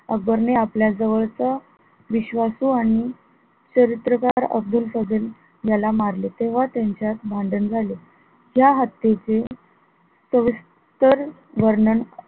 अकबर ने आपल्या जवळ च, विश्वासू आणि चारित्र्यकार अब्दुल फझल याला मारले तेव्हा त्यांच्यात भांडण झाले त्या हत्तीचे सविस्तर वर्णन,